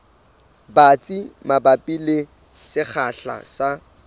batsi mabapi le sekgahla sa